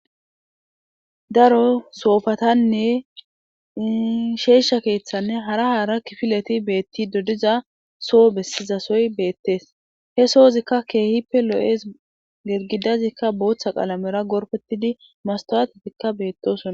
Daro soofatanne isheesha keeththanne hara haara kifileti beetti dodiza soo bessizasoy beettees he soozikka keehippe lo7es gergidazikka booththa qalamera gorpetidi mastawatetikka beettosona.